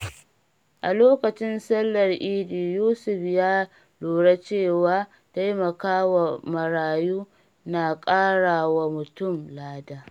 A lokacin Sallar Idi, Yusuf ya lura cewa taimakawa marayu na ƙara wa mutum lada.